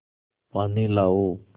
पानी लाओ